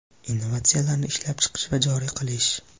innovatsiyalarni ishlab chiqish va joriy qilish;.